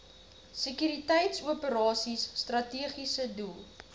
sekuriteitsoperasies strategiese doel